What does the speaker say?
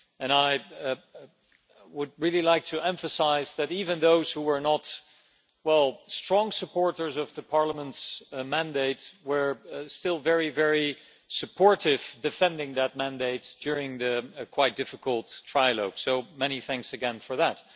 I would really like to emphasise that even those who were not strong supporters of Parliament's mandate were still very, very supportive, defending that mandate during the quite difficult, trilogue, so many thanks again for that.